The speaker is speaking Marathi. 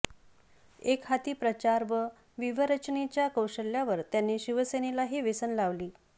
एक हाती प्रचार व व्युव्हरचनेच्या कौशल्यावर त्यांनी शिवसेनेलाही वेसण लावली